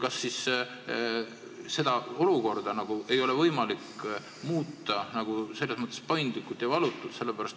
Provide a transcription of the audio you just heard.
Kas seda olukorda ei ole võimalik muuta paindlikult ja valutult?